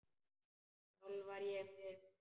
Sjálf var ég miður mín.